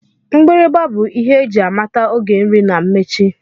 Mgbịrịgba bụ ihe eji amata oge nri na mmechi